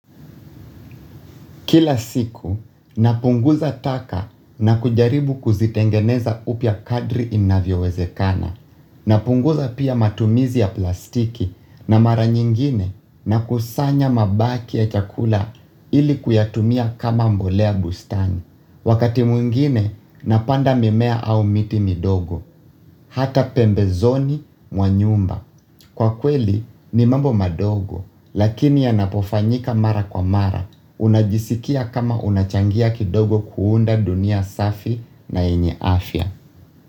Kila siku, napunguza taka na kujaribu kuzitengeneza upya kadri inavyowezekana. Napunguza pia matumizi ya plastiki na mara nyingine nakusanya mabaki ya chakula ili kuyatumia kama mbolea bustani. Wakati mwingine, napanda mimea au miti midogo, hata pembezoni mwa nyumba. Kwa kweli, ni mambo madogo, lakini yanapofanyika mara kwa mara, unajisikia kama unachangia kidogo kuunda dunia safi na yenye afya.